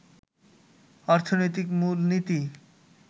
অর্থনৈতিক মূলনীতি